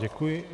Děkuji.